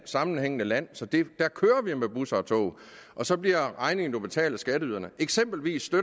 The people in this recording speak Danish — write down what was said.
sammenhængende land så der kører vi med busser og tog og så bliver regningen jo betalt af skatteyderne eksempelvis